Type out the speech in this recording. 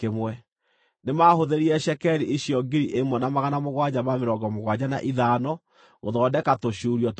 Nĩmahũthĩrire cekeri icio 1,775 gũthondeka tũcuurio twa itugĩ, na kũgemia itugĩ na igũrũ, na gũthondeka tũmĩkwa twacio.